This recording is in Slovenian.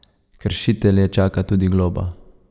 Kršitelje čaka tudi globa.